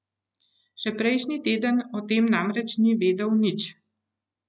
Še prejšnji teden o tem namreč ni vedel nič.